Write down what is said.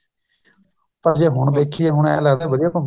ਪਰ ਜ਼ੇ ਹੁਣ ਦੇਖੀਏ ਹੁਣ ਏਹ ਲੱਗਦਾ ਵੀ ਵਧੀਆ ਘੁੱਮੇ ਆਏ